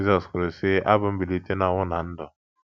Jizọs kwuru, sị: Abụ m mbilite n’ọnwụ na ndụ.